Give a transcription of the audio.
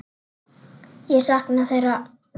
Ég sakna þeirra.